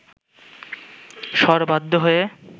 শর বাধ্য হয়ে